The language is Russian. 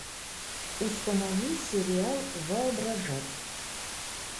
установи сериал воображать